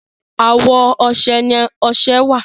àwọ ọsẹ ní ọsẹ wá.